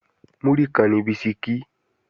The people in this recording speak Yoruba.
Múrí kan ni bisikí